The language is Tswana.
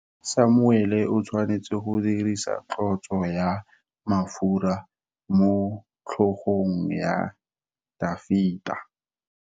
Samuele o tshwanetse go dirisa tlotso ya mafura motlhogong ya Dafita.